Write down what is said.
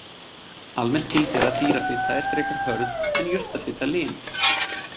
Almennt gildir að dýrafita er frekar hörð en jurtafita lin.